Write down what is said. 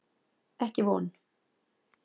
Ekki von.